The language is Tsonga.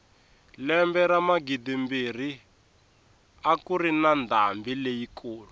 lembe ra magidimbirhi a kuri na ndhambi leyi kulu